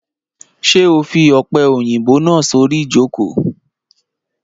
Ṣé o fi ọ̀pẹ̀-òyìnbò náà sorí ìjókò?